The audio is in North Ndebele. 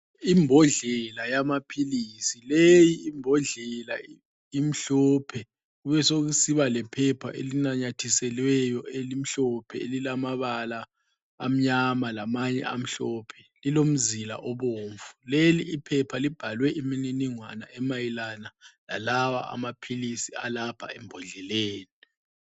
Imbodlela yamaphilisi, leyi imbondlela imhlophe, kubesekusiba lephepha elinanyathiselweyo elimhlophe elilamabala amnyama lamanye amhlophe lilomzila obomvu. Leli iphepha libhalwe imniningwano emayelana lalawa amaphilisi alapha embodleleni.